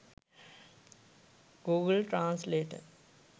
google translator